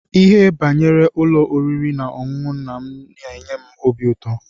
Ihe banyere ụlọ oriri na-ọṅụṅụ nna m n'enye m óbị ụtọ.